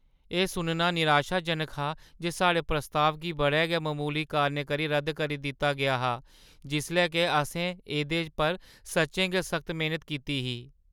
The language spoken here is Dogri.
एह् सुनना निराशाजनक हा जे साढ़े प्रस्ताव गी बड़े गै ममूली कारणें करी रद्द करी दित्ता गेआ हा जिसलै के असें एह्दे पर सच्चें गै सख्त मेह्‌नत कीती ही।